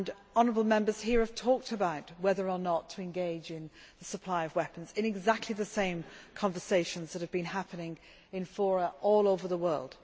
Honourable Members here have talked about whether or not to engage in the supply of weapons in exactly the same conversations that, in my experience, have been happening in forums all over the world.